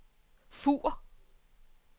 Fur